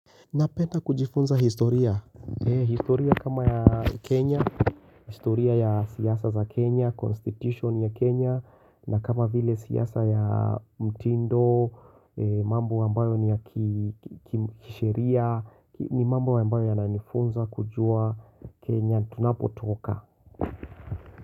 Napenda kujifunza historia historia kama ya Kenya, historia ya siasa za Kenya, constitution ya Kenya na kama vile siasa ya mtindo, mambo ambayo ni ya kisheria ni mambo ambayo ya nanifunza kujua Kenya, tunapotoka.